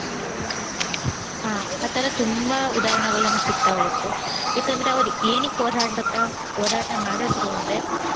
ಆಹ್ ಆ ತರ ತುಂಬಾ ಉದಾಹರಣೆಗಳು ನಮ್ಗ್ ಸಿಗ್ತಾ ಹೋಗತ್ತೆ. ಯಾಕಂದ್ರೆ ಅವ್ರ್ ಏನಕ್ ಹೋರಾಡ್ತಾ~ ಹೋರಾಟ ಮಾಡಿದ್ರು ಅಂದ್ರೆ,